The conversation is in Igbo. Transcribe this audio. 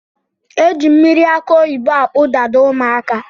Eji mmiri akụ oyibo akpụ Dada ụmụaka